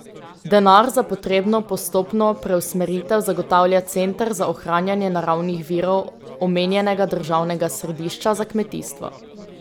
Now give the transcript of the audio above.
Denar za potrebno postopno preusmeritev zagotavlja Center za ohranjanje naravnih virov omenjenega državnega središča za kmetijstvo.